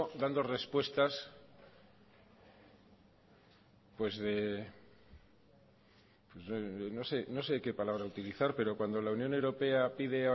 dando respuestas pues de no sé qué palabra utilizar pero cuando la unión europea pide